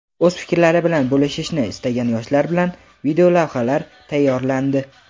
O‘z fikrlari bilan bo‘lishishni istagan yoshlar bilan videolavhalar tayyorlandi.